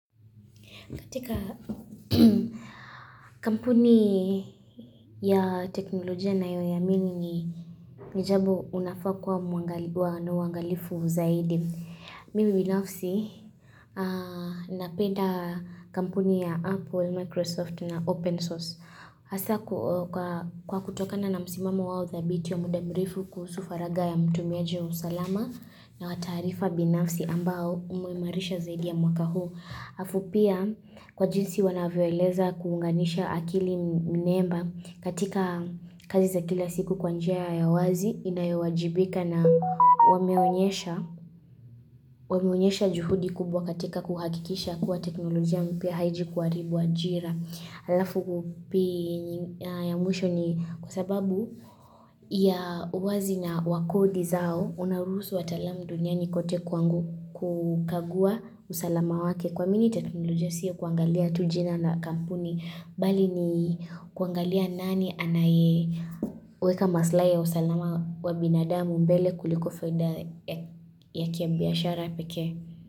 Katika kampuni ya teknolojia ninayo iamini ni jambo unafaa kuwa muangalifu zaidi. Mimi binafsi napenda kampuni ya Apple, Microsoft na Open Source. Hasa kwa kutokana na msimamo wao thabiti wa muda mrefu kuhusu faragha ya mtumiaji wao salama na wataarifa binafsi ambao umeimarisha zaidi ya mwaka huu. Halafu pia kwa jinsi wanavyoeleza kuunganisha akili mnemba katika kazi za kila siku kwanjia ya wazi inayowajibika na wameonyesha juhudi kubwa katika kuhakikisha kuwa teknolojia mpya haiji kuharibu ajira. Halafu kupi ya mwisho ni kwasababu ya uwazi na wakodi zao unaruhusu wataalam duniani kote kukagua usalama wake kuamini teknolojia sio kuangalia tujina na kampuni bali ni kuangalia nani anaye weka maslahi ya usalama wa binadamu mbele kuliko faida yake ya biashara pekee.